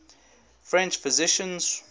french physicians